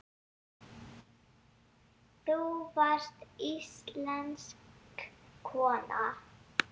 Þú varst íslensk kona.